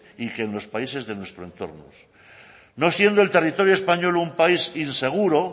y que en los países de nuestro entorno no siendo el territorio español un país inseguro